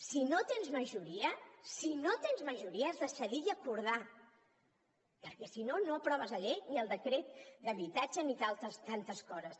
si no tens majoria si no tens majoria has de cedir i acordar perquè si no no aproves la llei ni el decret d’habitatge ni tantes altres coses